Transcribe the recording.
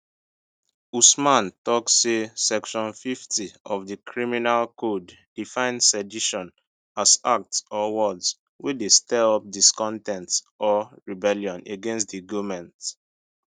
usman tok say section 50 of di criminal code define sedition as acts or words wey dey stir up discon ten t or rebellion against di goment